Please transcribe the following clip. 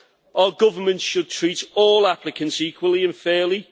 Our governments should treat all applicants equally and fairly.